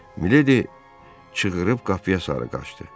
Miledi çığırıb qapıya sarı qaçdı.